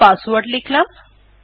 sudo password লিখলাম